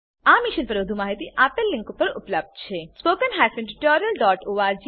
આ મિશન પર વધુ માહિતી નીચે દર્શાવેલ લીંક પર ઉપલબ્ધ છે